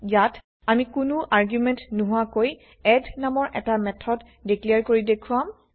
ইয়াত আমি কোনো আৰ্গুমেন্ট নোহোৱাকৈ এড নামৰ এটা মেথড ডিক্লেৰ কৰি দেখুৱাম